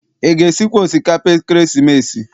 Ị ga- esikwa osikapa ekeresimesi?